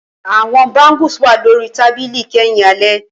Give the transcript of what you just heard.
Awọn bangles wà lori tabili kẹhin alẹ